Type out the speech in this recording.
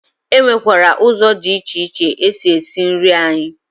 E nwekwara ụzọ dị iche iche esi esi nri anyị